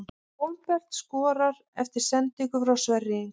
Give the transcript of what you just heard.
Hólmbert skorar eftir sendingu frá Sverri Inga!